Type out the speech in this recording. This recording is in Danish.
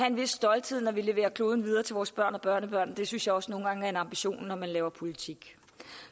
en vis stolthed når vi leverer kloden videre til vores børn og børnebørn det synes jeg også nogle gange er en ambition når man laver politik